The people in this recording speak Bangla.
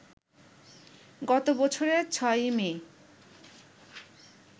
গত বছরের ৬ই মে